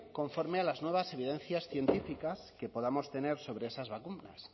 conforme a las nuevas evidencias científicas que podamos tener sobre esas vacunas